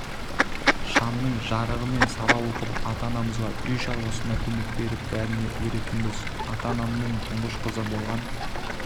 шамның жарығымен сабақ оқып ата-анамызға үй шаруасында көмек беріп бәріне үлгеретінбіз ата-анамның тұңғыш қызы болған